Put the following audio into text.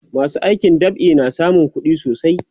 masu aikin dab'i na samun kuɗi sosai